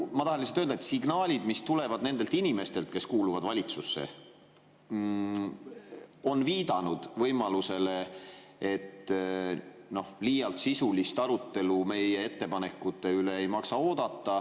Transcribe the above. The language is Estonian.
Ma tahan lihtsalt öelda, et signaalid, mis tulevad nendelt inimestelt, kes kuuluvad valitsusse, on viidanud võimalusele, et liialt ei maksa oodata sisulist arutelu meie ettepanekute üle.